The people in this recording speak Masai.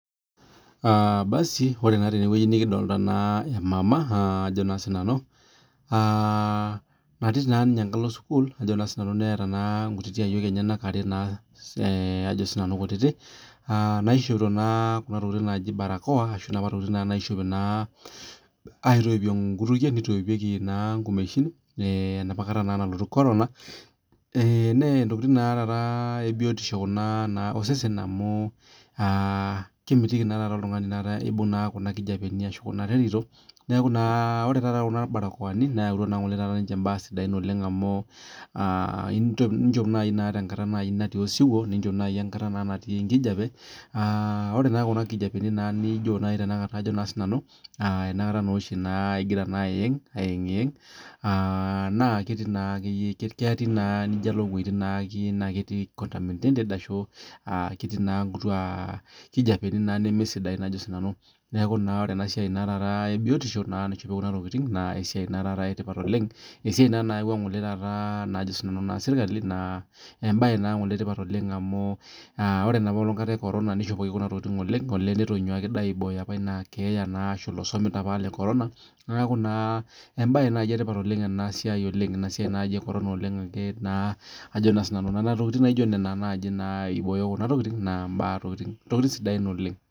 Aa basu ore na tenewueji nikidolta emama natii sininye enkalo sukul ajo sinanu neeta nkutitik ayiol enyenak are ajo na sinanu kutitik naishopito kuna tokitin naji barakoa ashu kuna tokitin aitoipie nkutukie enaapa kata nalotu korona na ntokitin ebiotisho kuna osesen amu kemitiki oltungani neaku ore kuna barakoani neyautua mbaa sidan amu aa inchop nai tenkatata natii osiwuo enakata naa oshi ingira ayeng ayiengiyeng na kelo na nijo alo wuejitin naijo ketii nkutia aa kijapeni nemesidain neaku ore enasiai ebiotisho na embae etipat oleng esiai na nayaua serkali na embae etipat oleng amu ore enapaa kata ekorona nishopoki oleng neaku embae etipat oleng enasia ekorono amu ajo na sinanu nona tokitin na ntokitin sidain oleng